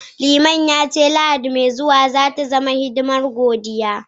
Liman ya ce, Lahadi mai zuwa za ta zama hidimar godiya